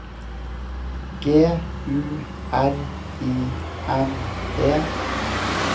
G U R I N E